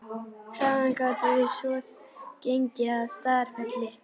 Þaðan gátum við svo gengið að Staðarfelli.